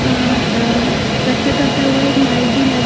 अ ए कथक करता हुआ एक माइक भी--